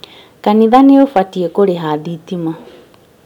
Kanitha nĩ ũbatiĩ kũrĩha thitima